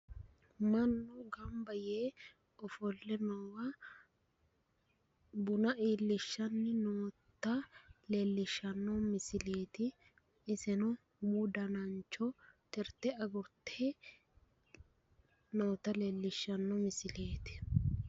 Mannu gamba yee ofolle noowa buna iillishshanni noota leellishshanno misileeti. Iseno umu danancho tirte agurte noota leellishshanno misileeti.